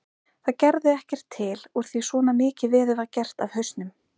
Það gerði ekkert til úr því svona mikið veður var gert af hausnum.